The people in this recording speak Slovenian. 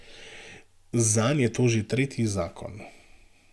Zanj je to že tretji zakon.